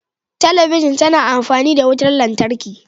Talabijin tana amfani da wutar lantarki.